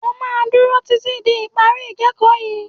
O máa dúró títí di ìparí ìkẹ́ẹ̀kọ̀ yìí.